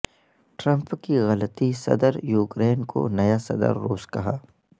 Trump کی غلطی صدر یوکرین کو نیا صدر روس کہا